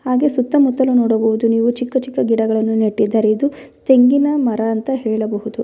ಹಾಗೆ ಸುತ್ತಮುತ್ತಲು ನೋಡಬಹುದು ನೀವು ಚಿಕ್ಕ ಚಿಕ್ಕ ಗಿಡಗಳನ್ನು ನೆಟ್ಟಿದ್ದಾರೆ ಇದು ತೆಂಗಿನ ಮರ ಅಂತ ಹೇಳಬಹುದು.